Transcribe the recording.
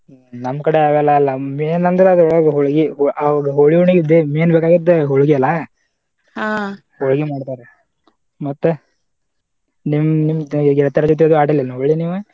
ಹ್ಮ್‌ ನಮ ಕಡೆ ಹಾಗೆಲ್ಲಾ ಅಲ್ಲಾ main ಅಂದ್ರ ಹೊಳ್ಗಿ ಆ ಹೋಳಿ ಹುಣ್ಣಿವೀಗ main ಬೇಕಾಗಿದ್ದ ಹೊಳ್ಗಿ ಅಲಾ ಹೊಳ್ಗಿ ಮಾಡ್ತಾರ ಮತ್ತ ನಿಮ್ ನಿಮ ಗೆಳತ್ಯಾರ ಜೊತೆದು ಆಡೀರೇನ ಹೋಳಿ ಹುಣ್ಣಿವಿ ನೀವ?